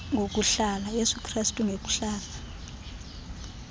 yesu krestu ngokuhlala